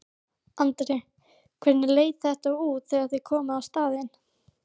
Andri: Hvernig leit þetta út þegar þið komuð á staðinn?